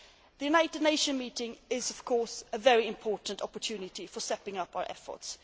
The United Nations meeting is, of course, a very important opportunity for stepping up our efforts.